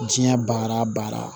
Diɲɛ baara